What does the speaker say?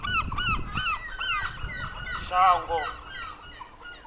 shango